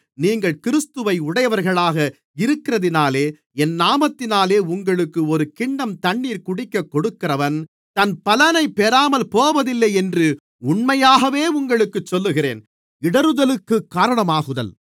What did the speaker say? நீங்கள் கிறிஸ்துவை உடையவர்களாக இருக்கிறதினாலே என் நாமத்தினாலே உங்களுக்கு ஒரு கிண்ணம் தண்ணீர் குடிக்கக் கொடுக்கிறவன் தன் பலனை பெறாமல் போவதில்லை என்று உண்மையாகவே உங்களுக்குச் சொல்லுகிறேன்